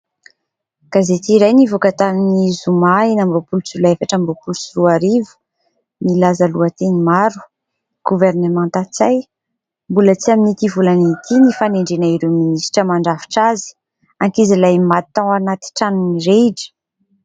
Gazety iray nivoaka tamin'ny Zoma enina amby roapolo Jolay efatra amby roapolo sy roa arivo. Milaza lohateny maro : "Governemanta Ntsay, mbola tsy amin'ity volana ity ny fanendrena ireo minisitra mandrafitra azy", "Ankizilahy maty tao anaty trano mirehitra".